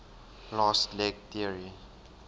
fast leg theory